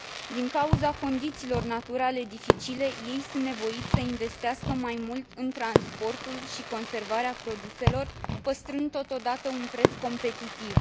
Din cauza condițiilor naturale dificile ei sunt nevoiți să investească mai mult în transportul și conservarea produselor, păstrând totodată un preț competitiv.